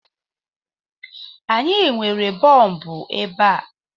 Anyị nwere bọọbụ ebe a